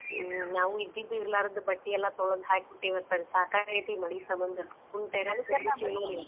ಹ್ಮ್ ನಾವು ಇದ್ದಿದ್ ಇರ್ಲ್ರಾದ ಬಟ್ಟಿ ಎಲ್ಲಾ ತೊಳದ್ ಹಾಕಿಬಿಟ್ಟೇವಿ ಅತ್ತಾಗ್ ಸಾಕಾಗೇತಿ ಈ ಮಳಿ ಸಮಂದ .